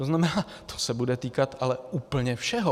To znamená, to se bude týkat ale úplně všeho.